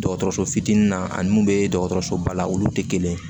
Dɔgɔtɔrɔso fitinin na ani mun bɛ dɔgɔtɔrɔsoba la olu tɛ kelen ye